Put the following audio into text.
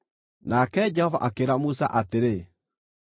Nake Jehova akĩĩra Musa atĩrĩ,